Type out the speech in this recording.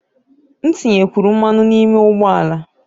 M tinyekwuru mmanụ n'ime ụgbọ ala